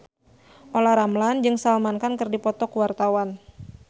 Olla Ramlan jeung Salman Khan keur dipoto ku wartawan